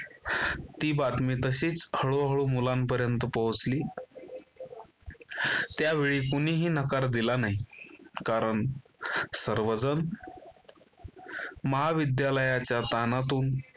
ती बातमी तशीच हळूहळू मुलांपर्यंत पोहोचली त्यावेळी कोणीही नकार दिला नाही कारण सर्वजण महाविद्यालयाच्या ताणातून